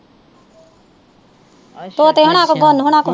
ਤੋਤੇ ਹੋਣਾ ਕੋ ਹੋਣਾ ਕੋ